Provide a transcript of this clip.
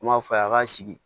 N b'a fɔ a ye a ka sigi